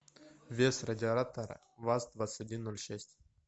вес радиатора ваз двадцать один ноль шесть